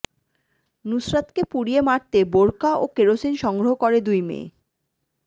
নুসরাতকে পুড়িয়ে মারতে বোরকা ও কেরোসিন সংগ্রহ করে দুই মেয়ে